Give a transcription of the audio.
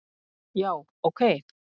já ok